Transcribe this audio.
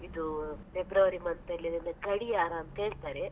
ಇದು February month ಅಲ್ಲಿ ಅದೆಂಥ ಗಡಿಯಾರ ಅಂತ ಹೇಳ್ತಾರೆ.